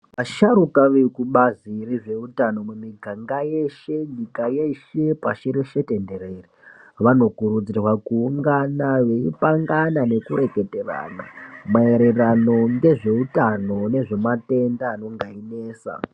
Asharuka vekubazi rezveutano miganga yeshe, nyika yeshe, pashi reshe tenderere vanokurudzirwa kuungana veipangana nekureketerana maererano ngezveutano nezvematenda anenge einesa.